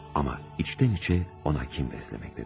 Amma içdən-içə ona kin bəsləməkdədir.